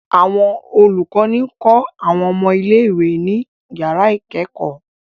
Awọn olukọni kọ awọn ọmọ ile-iwe ni yara ikẹkọ